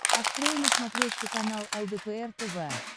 открой на смотрешке канал лдпр тв